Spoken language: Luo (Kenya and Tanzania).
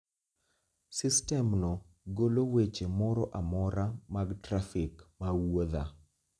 sistemno golo weche moro amora mag trafik ma wuodha